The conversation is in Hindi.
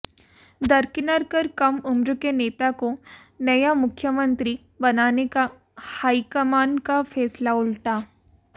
दरकिनार कर कम उम्र के नेता को नया मुख्यमंत्री बनाने का हाईकमान का फैसला उल्टा